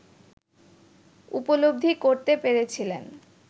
উপলব্ধি করতে পেরেছিলেন